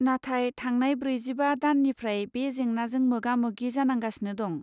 नाथाय थांनाय ब्रैजिबा दाननिफ्राय बे जेंनाजों मोगामोगि जानांगासिनो दं।